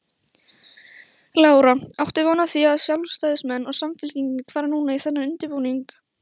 Lára: Áttu von á því að sjálfstæðismenn og Samfylking fari núna í þennan undirbúning?